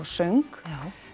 söng